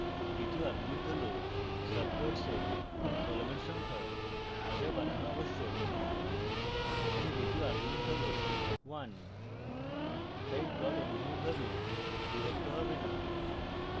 দ্বিতীয় argument হল subplots এর কলামের সংখ্যা the বানানো আবশ্যক